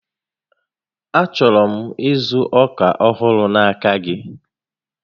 A chọrọ m ịzụ ọkà ọhụrụ n'aka gị